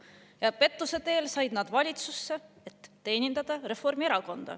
Ja pettuse teel said nad valitsusse, et teenindada Reformierakonda.